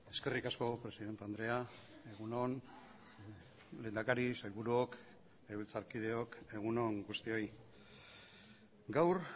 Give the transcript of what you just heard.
eskerrik asko presidente andrea egun on lehendakari sailburuok legebiltzarkideok egun on guztioi gaur